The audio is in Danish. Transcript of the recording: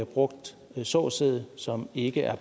brugt såsæd som ikke er